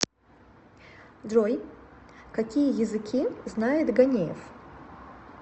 джой какие языки знает ганеев